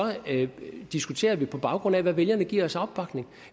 diskuterer vi det på baggrund af hvad vælgerne giver os af opbakning